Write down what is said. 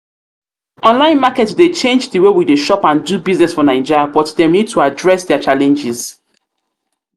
online market dey change di way we shop and do business for naija but dem need to address dia challenges.